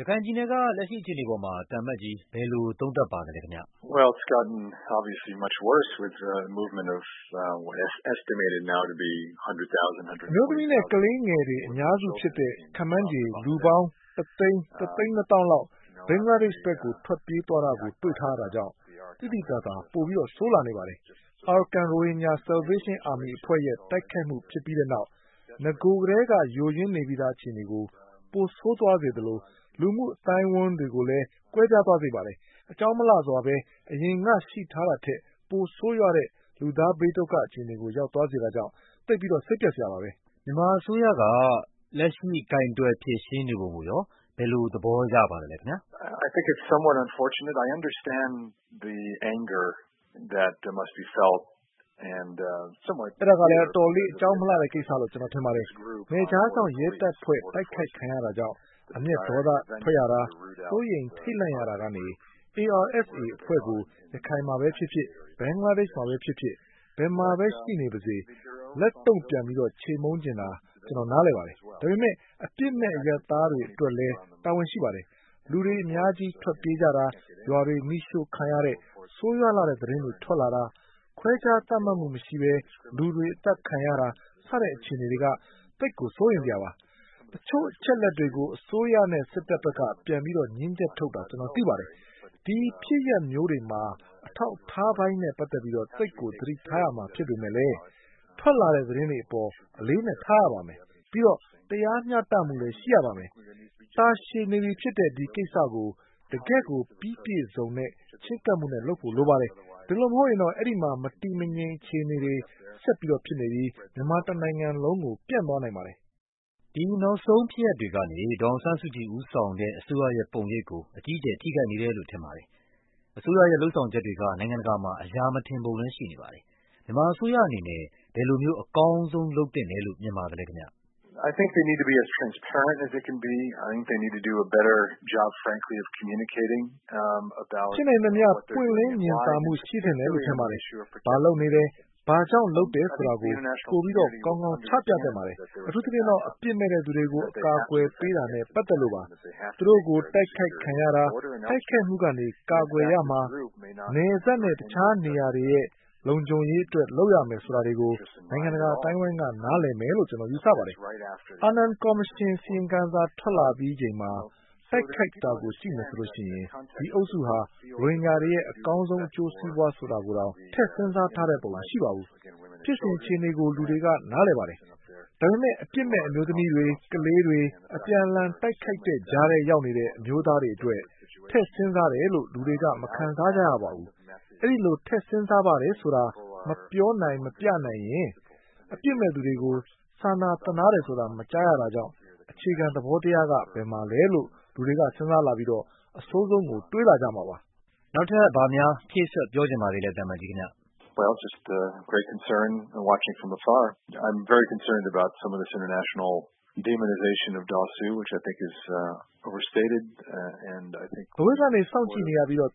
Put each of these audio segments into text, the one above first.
ရခိုင်ပြည်နယ်က လက်ရှိအခြေအနေအပေါ် သံအမတ်ကြီး ဘယ်လိုသုံးသပ်ပါသလဲ။ အမျိုးသမီးနဲ့ ကလေးငယ်တွေ အများစုဖြစ်တဲ့ ခန့်မှန်းခြေလူပေါင်း ၁ သိန်း၊ ၁ သိန်းနှစ်သောင်းလောက် ဘင်္ဂလားဒေ့ရှ် ဘက် ထွက်ပြေးသွားတာကို တွေ့ထားရတာကြောင့် သိသိသာသာကို ပိုဆိုးလာပါတယ်။ Arakan Rohingya Salvation Army အဖွဲ့ရဲ့တိုက်ခိုက်မှု ဖြစ်ပြီးတဲ့နောက် နဂိုကတည်းက ယိုယွင်းနေပြီးသား အခြေအနေကို ပိုဆိုးသွားစေသလို လူမှုအဝန်းအဝိုင်း တွေကိုလဲ ကွဲပြားသွားစေပါတယ်။ အကြောင်းမလှစွာဘဲ အရင်ကရှိထားတာထက် ပိုဆိုးရွားတဲ့ လူသားဘေးဒုက္ခအခြေအနေကို ရောက်သွားစေတာကြောင့် သိပ်ကို စိတ်ပျက်စရာပါ။ မြန်မာအစိုးရက လက်ရှိ ကိုင်တွယ်ဖြေရှင်းနေပုံကိုရော ဘယ်လိုသဘောရပါလဲခင်ဗျ။ အဲဒါကလဲ အတော်လေး အကြောင်းမလှဘူးလို့ ကျနော်ထင်ပါတယ်။ နယ်ခြားစောင့်ရဲတပ်ဖွဲ့ တိုက်ခိုက်ခံရတာကြောင့် အမျက်ဒေါသထွက်ရတာ၊ စိုးရိမ်ထိတ်လန့်ရတာကနေ ARSA အဖွဲ့ကို ရခိုင်မှာပဲဖြစ်ဖြစ်၊ ဘင်္ဂလားဒေ့ရှ်မှာပဲဖြစ်ဖြစ် ဘယ်မှာပဲ ရှိနေပါစေ လက်တုန့်ပြန်ပြီး ချေမှုန်းချင်တာ ကျနော်နားလည်ပါတယ်။ ဒါပေမဲ့ အပြစ်မဲ့ အရပ်သားတွေအတွက်လဲ တာဝန်ရှိပါ တယ်။ လူတွေအများကြီး ထွက်ပြေးကြတာ၊ ရွာတွေမီးရှို့ခံရတဲ့ ဆိုးရွားလှတဲ့သတင်းတွေ ထွက်လာတာ၊ ခွဲခြားသတ်မှတ်မှုမရှိဘဲ လူတွေအသတ်ခံရတာ စတဲ့အခြေအနေတွေက သိပ်ကို စိုးရိမ်စရာပါ။ တချို့အချက်အလက်တွေကို အစိုးရနဲ့စစ်ဘက်က ပြန်ပြီး ငြင်းချက်ထုတ်တာ ကျနော်သိပါတယ်။ အဲဒီဖြစ်ရပ်မျိုးတွေမှာ အထောက်အထားပိုင်းနဲ့ပတ်သက်ပြီး သိပ်ကို သတိထားရမှာ ဖြစ်ပေမယ့်လဲ ထွက်လာတဲ့သတင်းတွေအပေါ် အလေးအနက်ထားရပါမယ်။ ပြီးတော့ တရားမျှတမှုရှိရပါမယ်။ တာရှည်နေပြီဖြစ်တဲ့ ဒီကိစ္စကို တကယ့်ကိုပြီးပြည့်စုံတဲ့ ချဉ်းကပ်မှုနဲ့ လုပ်ဖို့လိုပါတယ်။ အဲဒီလိုမဟုတ်ရင်တော့ အဲဒီမှာ မတည်မငြိမ်အခြေအနေ ဆက် ဖြစ်ပြီး မြန်မာတနိုင်ငံလုံးကို ပြန့်သွားနိုင်ပါတယ်။ ဒီနောက်ဆုံးဖြစ်ရပ်တွေကနေ ဒေါ်အောင်ဆန်းစုကြည်ဦးဆောင်တဲ့ အစိုးရရဲ့ပုံရိပ်ကို အကြီးအကျယ် ထိခိုက်နေတယ်လို့ ထင်ပါတယ်။ အစိုးရရဲ့လုပ်ဆောင်ချက်တွေက နိုင်ငံတကာမှာ အရာမထင်ပုံလဲရှိနေပါတယ်။ မြန်မာအစိုးရအနေနဲ့ ဘယ်လိုမျိုး အကောင်းဆုံး လုပ်သင့်တယ်လို့ မြင်ပါသလဲ။ ဖြစ်နိုင်သမျှ ပွင့်လင်းမြင်သာမှု ရှိသင့်တယ်လို့ ထင်ပါတယ်။ ဘာလုပ်နေတယ်၊ ဘာ့ကြောင့်လုပ်တယ်ဆိုတာကို ပိုပြီး ကောင်းကောင်း ချပြသင့်ပါတယ်။ အထူးသဖြင့်တော့ အပြစ်မဲ့သူတွေကို အကာအကွယ်ပေးတာနဲ့ ပတ်သက်လို့ပါ။ သူတို့ကို တိုက်ခိုက်ခံရတာ၊ တိုက်ခိုက်မှုကနေ ကာကွယ်ရမှာ၊ နယ်စပ်နဲ့တခြားနေရာတွေရဲ့ လုံခြုံရေးအတွက် လုပ်ရမယ်ဆိုတာတွေကို နိုင်ငံတကာအသိုင်းအဝိုင်းက နားလည်မယ်လို့ ကျနော်ယူဆပါတယ်။ အာနန်ကော်မရှင်အစီရင်ခံစာ ထွက်လာပြီးချိန်မှာ တိုက်ခိုက်တာကို ကြည့်မယ်ဆိုရင် ဒီအုပ်စုဟာ ရိုဟင်ဂျာတွေရဲ့ အကောင်းဆုံး အကျိုးစီးပွားဆိုတာကိုတောင် ထည့်စဉ်းစားတဲ့ပုံ မရှိပါဘူး။ ဖြစ်စဉ်အခြေအနေကို လူတွေကနားလည်ပါတယ်။ ဒါပေမဲ့ အပြစ်မဲ့ အမျိုးသမီးတွေ၊ ကလေးတွေ၊ အပြန်အလှန် တိုက်ခိုက်တဲ့ကြားထဲရောက်နေတဲ့ အမျိုးသားတွေအတွက် ထည့်စဉ်းစားတယ်လို့ လူတွေက မခံစားကြရပါဘူး။ အဲဒီလို ထည့် စဉ်းစားပါတယ်ဆိုတာ မပြောနိုင်မပြနိုင်ရင် အပြစ်မဲ့သူတွေကို စာနာသနားတယ်ဆိုတာ မကြားရတာကြောင့် အခြေခံ သဘော တရားက ဘယ်မှာလဲလို့ လူတွေကစဉ်းစားလာပြီး အဆိုးဆုံးကို တွေးလာကြမှာပါ။ ဘာများ ဖြည့်စွက်ပြောချင်ပါသေးလဲခင်ဗျ။ အဝေးကနေ စောင့်ကြည့်နေရပြီး သ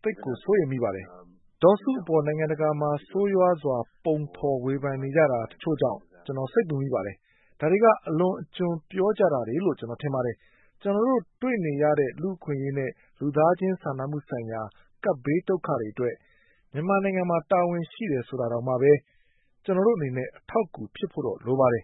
ိပ်ကို စိုးရိမ်မိပါတယ်။ ဒေါ်စုအပေါ် နိုင်ငံတကာမှာ ဆိုးရွားစွာ ပုံဖော်ဝေဖန်နေကြတာ တချို့ကြောင့် ကျနော် စိတ်ပူမိပါတယ်။ အဲဒါတွေက အလွန်အကျွံပြောကြတာတွေလို့ ကျနော်ထင်ပါတယ်။ ကျနော်တို့ တွေ့နေရ တဲ့ လူ့အခွင့်အရေးနဲ့ လူသားချင်းစာနာမှုဆိုင်ရာ ကပ်ဘေးဒုက္ခတွေအတွက် မြန်မာနိုင်ငံမှာ တာဝန်ရှိတယ်ဆိုတာတောင်မှပဲ ကျနော်တို့အနေနဲ့ အထောက်အကူဖြစ်ဖို့တော့ လိုပါတယ်။